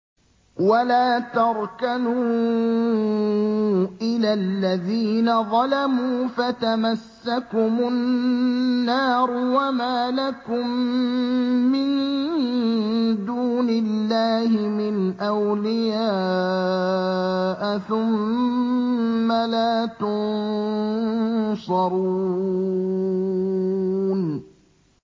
وَلَا تَرْكَنُوا إِلَى الَّذِينَ ظَلَمُوا فَتَمَسَّكُمُ النَّارُ وَمَا لَكُم مِّن دُونِ اللَّهِ مِنْ أَوْلِيَاءَ ثُمَّ لَا تُنصَرُونَ